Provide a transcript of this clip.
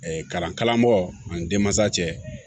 kalankalanko ani denmansa cɛ